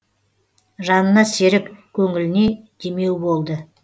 жанына серік көңіліне демеу болды